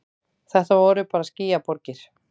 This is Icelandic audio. Þetta voru bara skýjaborgir.